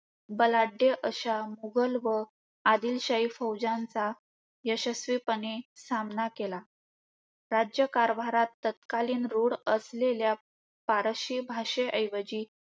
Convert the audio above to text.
बलाढ्य अशा मुघल व आदिलशाही फौजांचा यशस्वीपणे सामना केला. राज्यकारभारात तत्कालीन रूढ असलेल्या फारसी भाषेऐवजी